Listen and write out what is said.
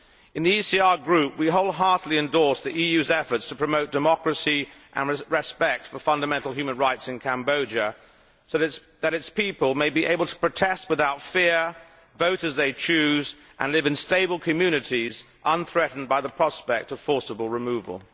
In the ECR Group, we wholeheartedly endorse the EU's efforts to promote democracy and respect for fundamental human rights in Cambodia, so that its people are able to protest without fear, vote as they choose and live in stable communities unthreatened by the prospect of forcible removal.